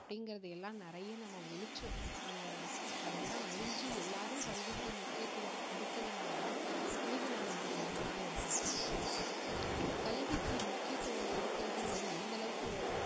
அப்படிங்கறது எல்லாம் நிறைய நம்ம ஒழிச்சோம் அந்த அதெல்லாம் அழிஞ்சு எல்லாரும் கல்விக்கு முக்கியத்துவம் கொடுத்ததினால தான் இன்னிக்கு நாம இந்த நிலைமையில இருக்கிறோம் கல்விக்கு முக்கியத்துவம் கொடுக்கிறதுங்கிறது எந்த அளவுக்கு